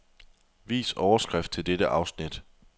Vis overskrift til dette afsnit.